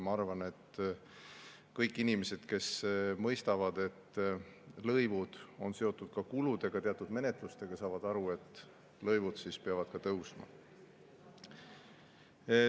Ma arvan, et kõik inimesed, kes mõistavad, et lõivud on seotud kuludega, teatud menetlustega, saavad aru, et ka lõivud peavad tõusma.